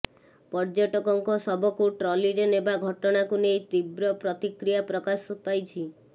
ପର୍ଯ୍ୟଟକଙ୍କ ଶବକୁ ଟ୍ରଲିରେ ନେବା ଘଟଣାକୁ ନେଇ ତୀବ୍ର ପ୍ରତିକ୍ରୀୟା ପ୍ରକାଶ ପାଇଛି